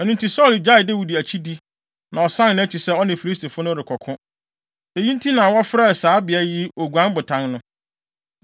Ɛno nti, Saulo gyaee Dawid akyidi, na ɔsan nʼakyi sɛ ɔne Filistifo no rekɔko. Eyi nti na wɔfrɛ saa beae yi Oguan Botan no.